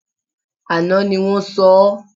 Àná ni wọ́n sọ ọ́